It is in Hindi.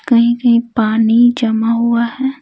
कहीं-कहीं पानी जमा हुआ है।